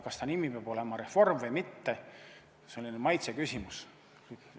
Kas ta nimi peab olema reform või mitte, on selline maitseasi.